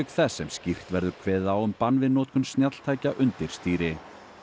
þess sem skýrt verður kveðið á um bann við notkun snjalltækja undir stýri